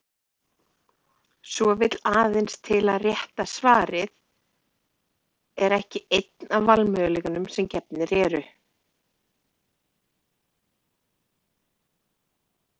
Svo vill aðeins til að rétta svarið er ekki einn af valmöguleikunum sem gefnir eru.